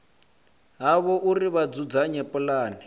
havho uri vha dzudzanye pulane